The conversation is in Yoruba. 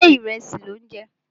Ṣé ìrẹsì lò ń jẹ?